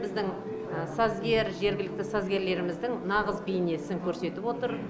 біздің сазгер жергілікті сазгерлеріміздің нағыз бейнесін көрсетіп отыр